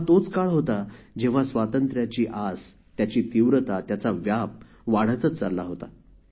हा तोच काळ होता जेव्हा स्वातंत्र्याची आस त्याची तीव्रता त्याचा व्याप वाढतच चालला होता